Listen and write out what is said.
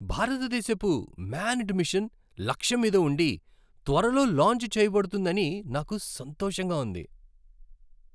భారతదేశపు manned mission లక్ష్యం మీద ఉండి, త్వరలో లాంచ్ చేయబడుతుందని నాకు సంతోషంగా ఉంది.